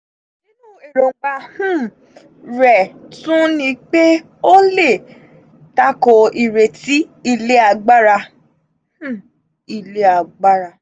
nínú èròngbà um rẹ̀ tún ní pé ó lè takò ìrètí ilé agbára. ilé agbára.